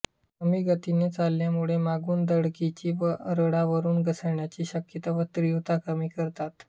कमी गतीने चालण्यामुळे मागुन धडकीची व रुळावरून घसरण्याची शक्यता व तीव्रता कमी करतात